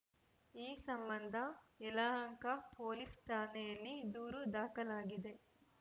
ಈ ಸಂಬಂಧ ಯಲಹಂಕ ಪೊಲೀಸ್‌ ಠಾಣೆಯಲ್ಲಿ ದೂರು ದಾಖಲಾಗಿದೆ